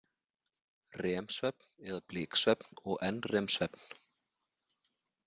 REM-svefn eða bliksvefn og NREM-svefn.